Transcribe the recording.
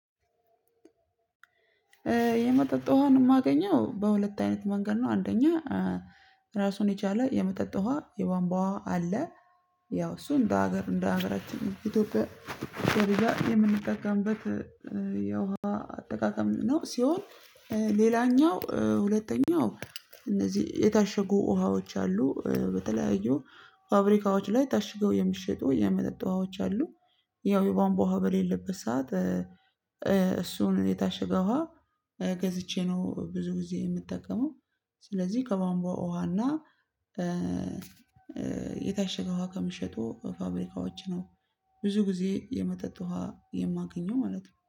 የመጠጥ ውሃን የማገኘው በሁለት አይነት መንገድ ነው። አንደኛ ራሱን የቻለ የመጠጥ ውሃ የቧንቧ ውሃ አለ። ያው እሱ እንደ ሀገር እንደ ሀገራችን ኢትዮጵያ የምንጠቀምበት የውሃ አጠቃቀም ነው። ሲሆን ሌላኛው ሁለተኛው እነዚህ የታሸጉ ውሃዎች አሉ በተለያዩ ፋብሪካዎች ላይ ታሽገው የሚሸጡ የመጠጥ ውሃዎች አሉ። ያው የቧንቧ ውሃ በሌለበት ሰዓት እሱን የታሸገ ውሃ ገዝቼ ነው ብዙ ጊዜ የምጠቀመው። ስለዚህ ከቧንቧ ውሃና የታሸገ ውሃ ከሚሸጡ ፋብሪካዎች ነው። ብዙ ጊዜ የመጠጥ ውሃ የማገኘው ማለት ነው